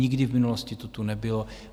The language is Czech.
Nikdy v minulosti to tu nebylo.